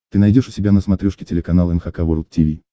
ты найдешь у себя на смотрешке телеканал эн эйч кей волд ти ви